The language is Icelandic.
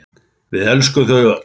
Við elskum þau öll.